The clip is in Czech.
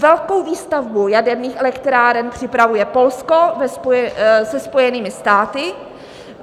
Velkou výstavbu jaderných elektráren připravuje Polsko se Spojenými státy.